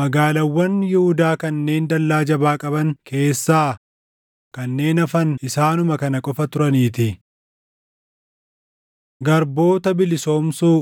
Magaalaawwan Yihuudaa kanneen dallaa jabaa qaban keessaa kanneen hafan isaanuma kana qofa turaniitii. Garboota Bilisoomsuu